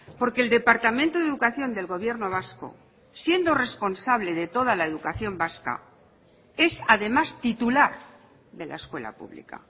porque el departamento de educación del gobierno vasco siendo responsable de toda la educación vasca es además titular de la escuela pública